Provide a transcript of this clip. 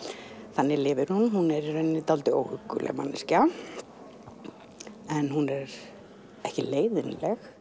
þannig lifir hún hún er dálítið óhugguleg manneskja en hún er ekki leiðinleg